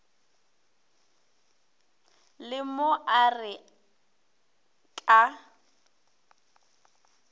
le mo a re ka